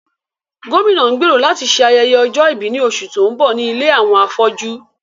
Gómìnà ń gbèrò láti ṣe ayẹyẹ ọjọ́ ìbí ní oṣù tó ń bọ̀ ní ilé àwọn afọ́jú